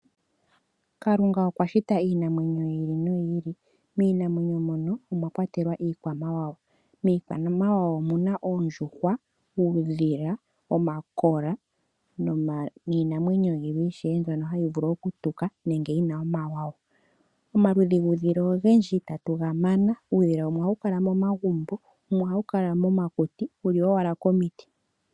Kalunga okwa shita iinamwenyo yi ili noyi ili. Miinamwenyo mono omwa kwatelwa iikwamawawa. Miikwamawawa omu na oondjuhwa, uudhila, omakola niinamwenyo yilwe ishewe mbyono hayi vulu okutuka nenge yi na omawawa. Omaludhi guudhila ogendji itatu ga mana. Uudhila wumwe ohawu kala momagumbo, wumwe ohawu kala momakuti wu li owala komiti.